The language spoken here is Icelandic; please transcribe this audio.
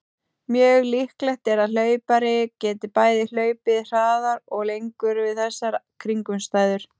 Mjög líklegt er að hlaupari geti bæði hlaupið hraðar og lengur við þessar kringumstæður.